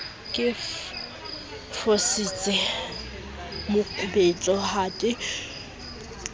ke fositse mokubetso ha ke